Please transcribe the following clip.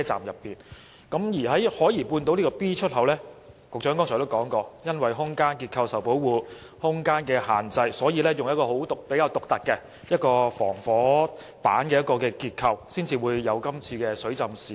局長剛才也提到，海怡半島站 B 出口因空間結構受保護，以及空間受到局限，於是採用比較獨特的防火板結構，因此才會導致這次水浸事故。